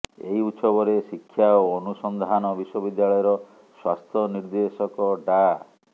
ଏହି ଉତ୍ସବରେ ଶିକ୍ଷା ଓ ଅନୁସନ୍ଦାନ ବିଶ୍ୱବିଦ୍ୟାଳୟର ସ୍ୱାସ୍ଥ୍ୟ ନିର୍ଦ୍ଦେଶକ ଡା